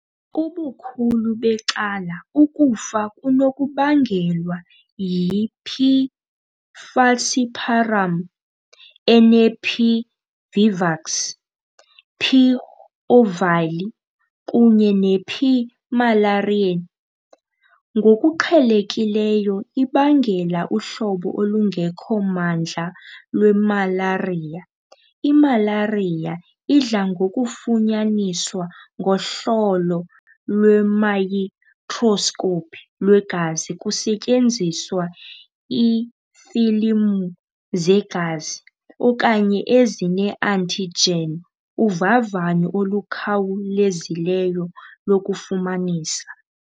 Ubukhulu becala ukufa kunokubangelwa yi"P. falciparum" ene"P. vivax", "P. ovale", kunye "P. malariae" ngokuqhelekileyo ibangela uhlobo olungekho mandla lwemalariya. Imalariya idla ngokufunyaniswa ngohlolo lwemayikroskopu lwegazi kusetyenziswa iifilimu zegazi, okanye ezine-antigen uvavanyo olukhawulezileyo lokufumanisa.